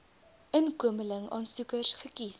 inkomeling aansoekers gekies